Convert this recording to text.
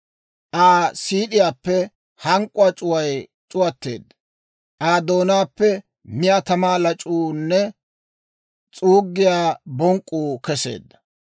Aa siid'iyaappe hank'k'uwaa c'uway c'uwatteedda; Aa doonaappe miyaa tamaa lac'uunne s'uuggiyaa bonk'k'uu keseedda.